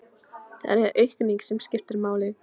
Það er aukningin sem skiptir máli.